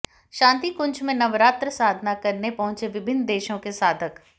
शांतिकुंज में नवरात्र साधना करने पहुंचे विभिन्न देशों के साधक